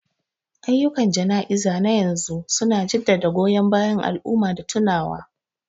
Ayyukan jana'izar na yanzu su na jaddada goyon bayan al'umma da tunawa.